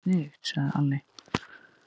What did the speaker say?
Já, það væri sniðugt, sagði Alli.